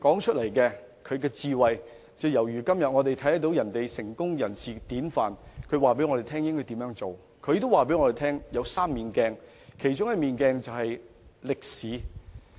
他的智慧和說話，猶如我們今天社會上成功人士的典範；他也說做人處世有3面鏡，其中一面鏡就是歷史。